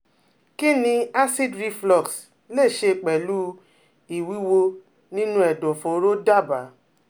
Kí ni acid reflux lè ṣe pẹ̀lú ìwúwo nínú ẹ̀dọ̀fóró dábàá?